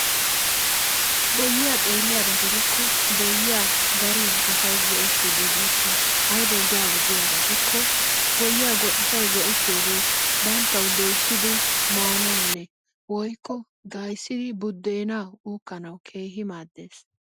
Boyyiya xeelliyaba gidikko boyyiya darin asay go'ettiiddi beettes. Ayibawu giyaaba dikko boyyiya asay go'ettiyogee banttawu doyissidi mayanawunne woyikko gaa'issidi buddeenaa uukkanawu keehi maaddes.